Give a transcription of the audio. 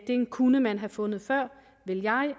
den kunne man have fundet før vil